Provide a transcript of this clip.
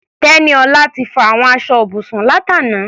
Tẹ́níọlá ti fọ àwọn aṣọ ibùsùn látàná.